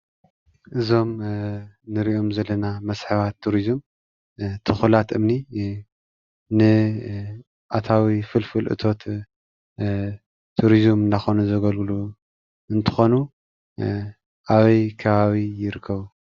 እዞም እንሪኦም ዘለና መስሕባት ቱሪዙም ቱኹላት እምኒ ን ኣታዊ ፍልፍል እቶት ቱሪዙም እናኾኑ ዘገልግሎ እንትኾኑ። ኣበይ ከባቢ ይርከቡ?